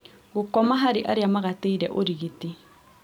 Gũkoma harĩ arĩa magatĩire ũrigiti